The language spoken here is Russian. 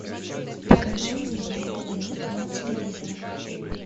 покажи мне моя планета на телевизоре